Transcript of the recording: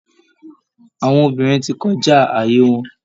Àwọn obìnrin ti kọjá ààyè wọn